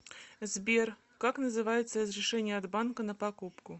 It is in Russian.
сбер как называется разрешение от банка на покупку